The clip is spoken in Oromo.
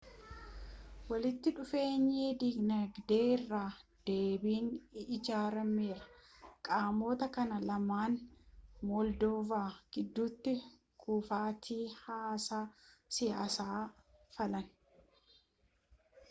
walitti dhufeenyi dinagdee irra deebiin ijaarameera qaamota kana lamaan moldoova gidduti kufatii haasaa siyaasa fallaan